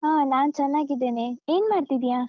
ಹಾ ನಾನ್ ಚೆನ್ನಾಗಿದ್ದೇನೆ. ಏನ್ ಮಾಡ್ತಿದ್ಯಾ?